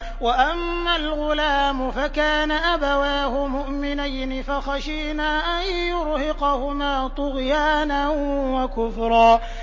وَأَمَّا الْغُلَامُ فَكَانَ أَبَوَاهُ مُؤْمِنَيْنِ فَخَشِينَا أَن يُرْهِقَهُمَا طُغْيَانًا وَكُفْرًا